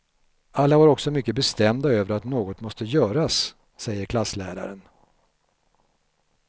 Alla var också mycket bestämda över att något måste göras, säger klassläraren.